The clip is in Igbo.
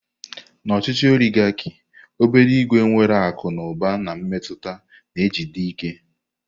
Na ochichi oligarki obere ìgwè nwere akụ na ụba na mmetụta na-ejide ike.